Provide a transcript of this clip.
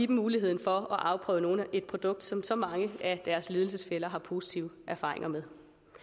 muligheden for at afprøve et produkt som så mange af deres lidelsesfæller har positive erfaringer med